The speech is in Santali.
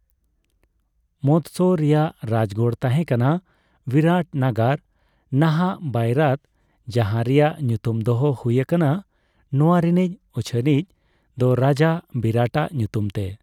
ᱢᱚᱫᱥᱚ ᱨᱮᱭᱟᱜ ᱨᱟᱡᱜᱟᱲ ᱛᱟᱦᱮ ᱠᱟᱱᱟ ᱵᱤᱨᱟᱴᱱᱟᱜᱟᱨ (ᱱᱟᱦᱟᱜ ᱵᱟᱹᱭᱨᱟᱛ), ᱡᱟᱦᱟ ᱨᱮᱭᱟᱜ ᱧᱩᱛᱩᱢ ᱫᱚᱦᱚ ᱦᱩᱭ ᱟᱠᱟᱱᱟ ᱱᱚᱣᱟ ᱨᱮᱱᱤᱡ ᱩᱪᱷᱟᱹᱱᱤᱡ ᱫᱚ ᱨᱟᱡᱟ ᱵᱤᱨᱟᱴᱟᱜ ᱧᱩᱛᱩᱢᱛᱮ ᱾